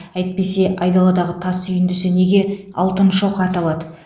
әйтпесе айдаладағы тас үйіндісі неге алтын шоқы аталады